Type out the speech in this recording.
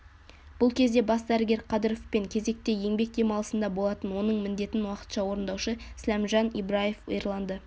бұл кезде бас дәрігер қадыров кезекте еңбек демылысында болатын оның міндетін уақытша орындаушы сләмжан ибраев ерланды